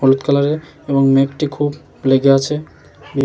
হলুদ কালার -এর এবং মেঘটি খুব লেগে আছে। উ--